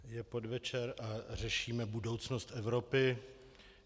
Je podvečer a řešíme budoucnost Evropy.